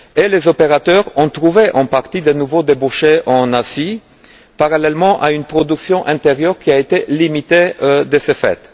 Les opérateurs ont trouvé en partie de nouveaux débouchés en Asie, parallèlement à une production intérieure qui a été limitée de ce fait.